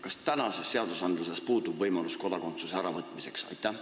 Kas praegustes seadustes puudub võimalus kodakondsuse äravõtmiseks?